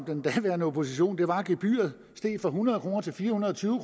den daværende opposition voldsomt var at gebyret steg fra hundrede kroner til fire hundrede og tyve